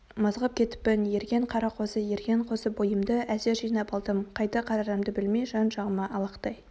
мызғып кетіппін ерген қара қозы ерген қозы бойымды әзер жинап алдым қайда қарарымды білмей жан-жағыма алақтай